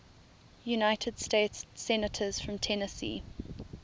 united states senators from tennessee